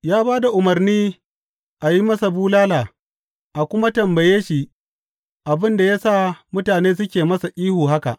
Ya ba da umarni a yi masa bulala a kuma tambaye shi abin da ya sa mutane suke masa ihu haka.